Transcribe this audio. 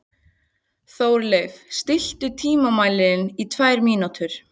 Þórleif, stilltu tímamælinn á tvær mínútur.